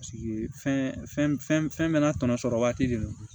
fɛn bɛɛ n'a tɔnɔ sɔrɔ waati de don